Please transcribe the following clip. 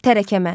Tərəkəmə.